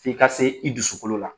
F'i ka se i dusukolo la.